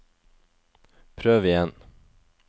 prøv igjen